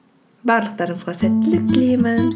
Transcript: барлықтарыңызға сәттілік тілеймін